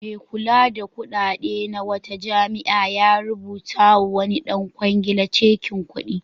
Mai kula da kuɗaɗe na wata jami'a ya rubutawa wani ɗan kwangila cakin kuɗi.